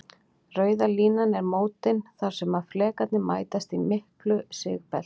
Rauða línan eru mótin þar sem flekarnir mætast, í miklu sigbelti.